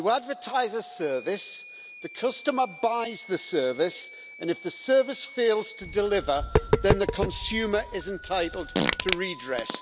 You advertise a service, the customer buys the service and, if the service fails to deliver, then the consumer is entitled to redress.